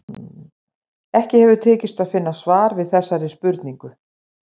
Ekki hefur tekist að finna svar við þessari spurningu.